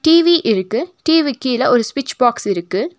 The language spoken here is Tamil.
டி_வி இருக்கு டி_விக்கீழ ஒரு ஸ்விட்ச் பாக்ஸ் இருக்கு.